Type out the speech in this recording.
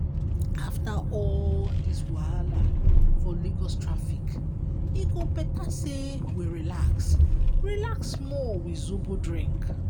after all dis wahala for lagos traffic e go better sey we relax relax small with zobo drink.